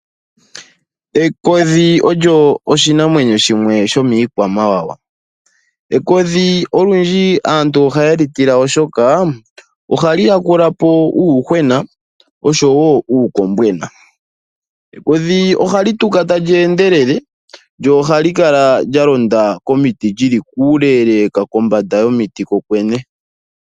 Ekodhi olyo oshinamwenyo shimwe shomiikwamawawa, ekodhi olundji aantu ohaye li tila oshoka ohali yakulapo uuyuhwena nuukombwena. Ekodhi ohali tuka tali endelele lyo ohali kala lya londa komiti lyili kuuleleka kombanda yomiti kokwene.